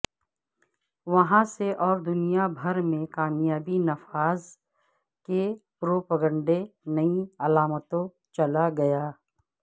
وہاں سے اور دنیا بھر میں کامیاب نفاذ کے پروپیگنڈے نئی علامتوں چلا گیا